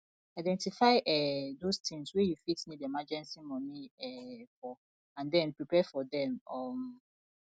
identify um those things wey you fit need emergency money um for and then prepare for them um